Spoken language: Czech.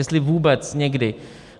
Jestli vůbec někdy.